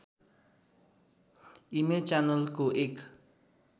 image च्यानलको एक